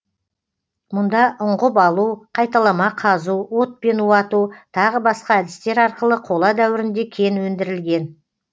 мұнда ұңғып алу қайталама қазу отпен уату тағы басқа әдістер арқылы қола дәуірінде кен өндірілген